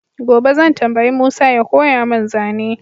gobe zan tambayi Musa ya koya mun zane